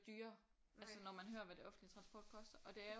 Dyrere altså når man hører hvad det offentlige transport koster og det er jo